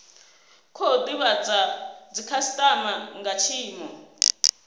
khou divhadza dzikhasitama nga tshiimo